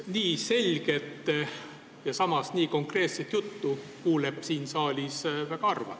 Nii selget ja samas nii konkreetset juttu kuuleb siin saalis väga harva.